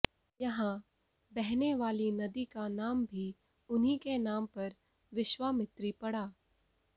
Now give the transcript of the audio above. यहां बहने वाली नदी का नाम भी उन्हीं के नाम पर विश्वामित्री पड़ा